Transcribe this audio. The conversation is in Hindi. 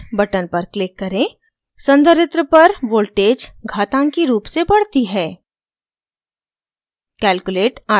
cc charge button पर click करें संधारित्र पर voltage घातांकी रूप से बढ़ती है